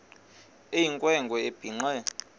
eyinkwe nkwe ebhinqe